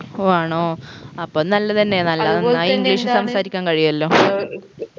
ഓ ആണോ അപ്പൊ നല്ലതെന്നെ നല്ല നന്നായി english സംസാരിക്കാൻ കഴിയുവല്ലോ